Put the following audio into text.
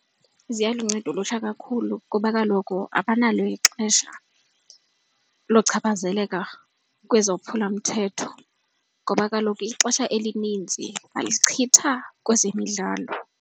Ziyalunceda olutsha kakhulu kuba kaloku abanalo ixesha lochaphazeleka kwezophulamthetho ngoba kaloku ixesha elininzi balichitha kwezemidlalo.